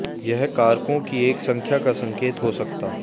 यह कारकों की एक संख्या का संकेत हो सकता